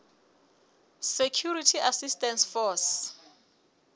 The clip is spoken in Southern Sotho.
security assistance force